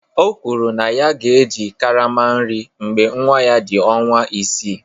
O kwuru na ya ga-eji karama nri mgbe nwa ya dị ọnwa isii